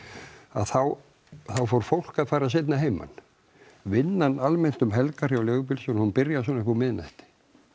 þá fór fólk að fara seinna að heiman vinnan almennt um helgar hjá leigubílstjórum hún byrjar svona uppúr miðnætti